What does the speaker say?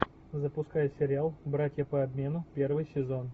запускай сериал братья по обмену первый сезон